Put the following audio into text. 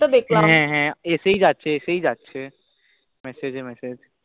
দেখলাম হ্য়াঁ হ্য়াঁ এসেই যাছে এসেই যাছে, message message